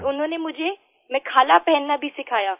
और उन्होंने मुझे मेखालाmekhela पहनना भी सिखाया